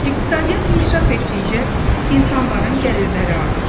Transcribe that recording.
İqtisadiyyat inkişaf etdikcə, insanların gəlirləri artır.